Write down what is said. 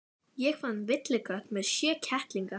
Ég fann villikött með sjö kettlinga.